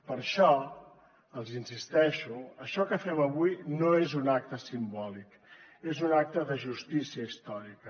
per això els hi insisteixo això que fem avui no és un acte simbòlic és un acte de justícia històrica